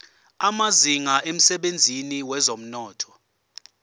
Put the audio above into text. amazinga emsebenzini wezomnotho